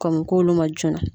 Kɔmɔkɛ olu ma joona.